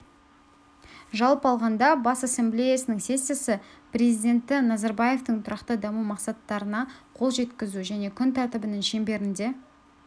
жалпы алғанда бас ассамблеясының сессиясы президенті назарбаевтың тұрақты даму мақсаттарына қол жеткізу және күн тәртібінің шеңберінде